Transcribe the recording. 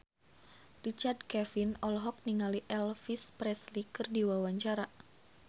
Richard Kevin olohok ningali Elvis Presley keur diwawancara